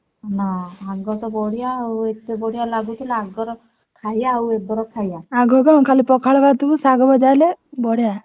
ନା ୟାଙ୍କର ତ ବଢିଆ ଆଉ ଏତେ ବଢିଆ ଲାଗୁଥିଲା ଆଗର ଖାଇବା ଆଉ ଏବର ଖାଇବା